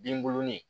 Binbuluni